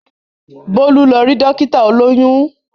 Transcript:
Bólú lọ rí Dókítà olóyún